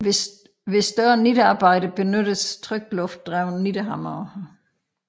Ved større nittearbejder benyttes trykluftdrevne nittehamre